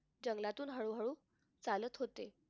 जंगलातून हळूहळू चालत होते.